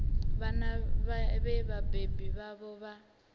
vhana vhe vhabebi vhavho vha